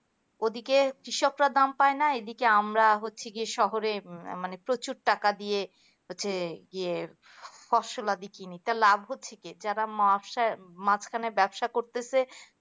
ওদিকে কৃষকরা দাম পাইনা এইদিকে আমরা হচ্ছি কি শহরে মানে প্রচুর টাকা দিয়ে ফসলাদি কিনি তা লাভ হচ্ছে কি যারা মাসা মাঝখানে ব্যবসা করতে সে